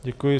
Děkuji.